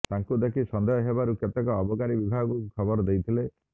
ତାଙ୍କୁ ଦେଖି ସନ୍ଦେହ ହେବାରୁ କେତେକ ଅବକାରୀ ବିଭାଗକୁ ଖବର ଦେଇଥିଲେ